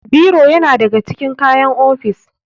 Biro yana da ga cikin kayan ofis.